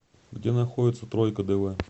где находится тройка дв